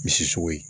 Misi sogo ye